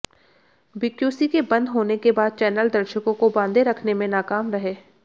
BQC के बंद होने के बाद चैनल दर्शकों को बांधे रखने में नाकाम रहे